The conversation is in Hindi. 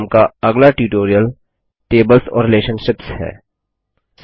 इस क्रम का अगला ट्यूटोरियल टेबल्स टेबल्स और रिलेशनशिप्स रिलेशनशिप्स है